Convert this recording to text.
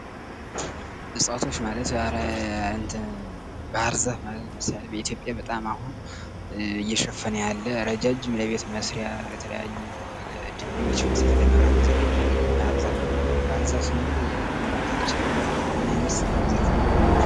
እፅዋቶች ማለት ባህርዛፍ ማለት ለምሳሌ የኢትዮጵያን በጣም አሁን እየሸፈነ ያለ ረጃጅም ለቤት መስሪያ ለተለያዩ ድልድዮች መስሪያ ለመብራት መዘርጊያ የሚያገለግል ባህር ዛፍ ነው:: ባህር ዛፍ ስንል ምን ማለታችን ነው? ምን አይነት ዛፍ ነው?